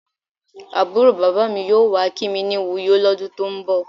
Àbúrò bàbá mi yóò wá kí mi ní Uyo lọ́dún tó ń bọ̀.